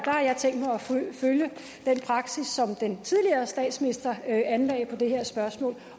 følge den praksis som den tidligere statsminister anlagde på det her spørgsmål